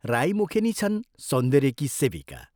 राई मुखेनी छन् सौन्दर्यकी सेविका।